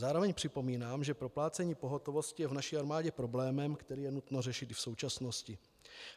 Zároveň připomínám, že proplácení pohotovosti je v naší armádě problémem, který je nutno řešit v současnosti.